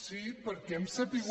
sí perquè hem sabut